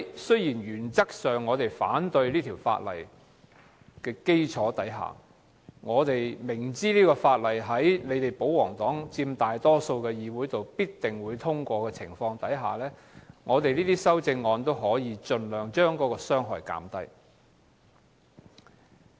雖然原則上我們反對《條例草案》，但明知在保皇黨佔大多數議席的情況下，《條例草案》必定會通過，故我提出兩部分的修正案，希望盡量將傷害減低。